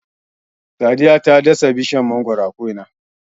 Sadiya ta dasa bishiyar mangwaro a ko'ina.